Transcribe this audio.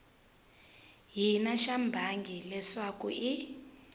hina xa bangi leswaku i